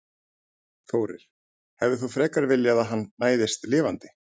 Þórir: Hefðir þú frekar viljað að hann næðist lifandi?